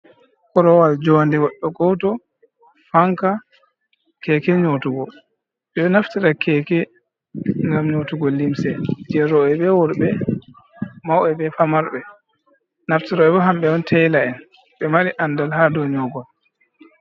Korowal jonde je goɗɗo goto, fanka, keke nyotugo. Ɓeɗo naftira keke ngam nyotugo limse je roɓe be worɓe, mauɓe be famarɓe. Naftiraɓe bo hamɓe on tela en ɓe mari andal ha dou nyogol..